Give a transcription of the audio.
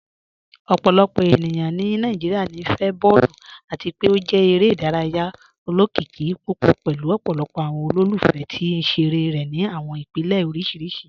Ọpọlọpọ ènìyàn ni Nàìjíríà níí fẹ̀ bọọ̀lù, àti pe ó jẹ̀ èrè idáràyà ọlọ́kìíkì púpọ̀ pẹ̀lú ọpọlọpọ̀ awọn olólùfẹ̀ tì nṣerẹ̀rẹ̀ ni awọn ìpèlẹ̀ oríṣiríṣì.